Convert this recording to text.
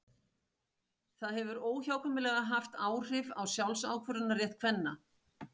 Það hefur óhjákvæmilega haft áhrif á sjálfsákvörðunarrétt kvenna.